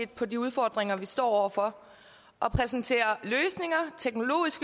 på de udfordringer vi står over for og præsenterer